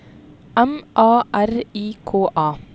M A R I K A